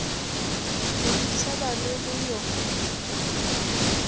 go ntsheba le go yo